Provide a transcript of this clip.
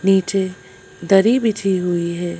नीचे दरी बिछी हुई है।